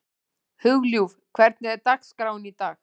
Hugljúf, hvernig er dagskráin í dag?